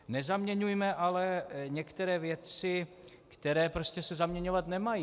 Nezaměňujme ale některé věci, které se prostě zaměňovat nemají.